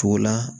Togo la